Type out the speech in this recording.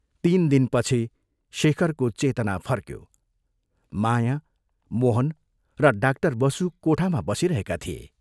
तीन दिनपछि शेखरको चेतना फर्क्यो माया, मोहन र डाक्टर बसु कोठामा बसिरहेका थिए।